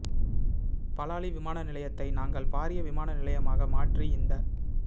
பலாலி விமான நிலையத்தை நாங்கள் பாரிய விமான நிலையமாக மாற்றி இந்த